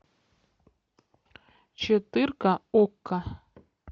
четырка окко